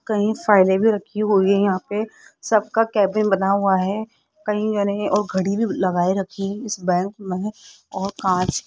कहीं रखी हुई है यहां पे सबका केबिन बना हुआ है कही याने और घड़ी लगाए रखी इस बैंक में और कांच --